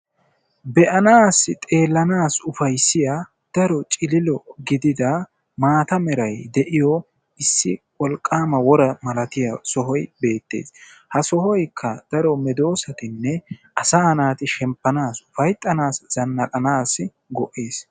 Be"anaassi xeellanaassi lo"iya daro cililo gidida maata merayi de"iyo issi wolqqaama wora malatiya sohoyi beettes. Ha sohoykka daro medoossatinne asaa naati shemppanaassi ufayttanaassi zannaqanaassi go"es.